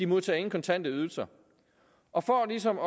modtager nogen kontante ydelser og for ligesom